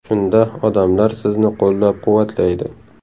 Shunda odamlar sizni qo‘llab-quvvatlaydi.